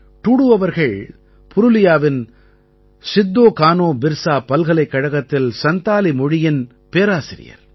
டூடூ அவர்கள் புருலியாவின் சித்தோ கானோ பிர்ஸா பல்கலைக்கழகத்தில் சந்தாலி மொழியின் பேராசிரியர்